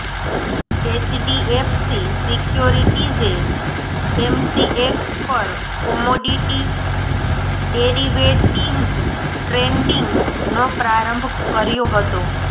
HDFC સિક્યોરિટીઝે MCX પર commodity derivatives ટ્રેડિંગનો પ્રારંભ કર્યો હતો